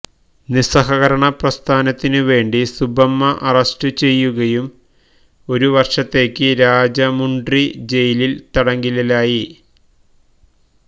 നിസ്സഹകരണ പ്രസ്ഥാനത്തിനു വേണ്ടി സുബ്ബമ്മ അറസ്റ്റുചെയ്യുകയും ഒരു വർഷത്തേക്ക് രാജമുണ്ട്രി ജയിലിൽ തടങ്കലിലായി